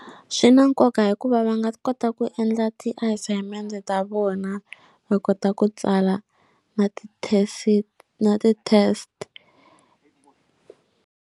Swi na nkoka hikuva va nga kota ku endla ti assignment ta vona va kota ku tsala na ti na ti test.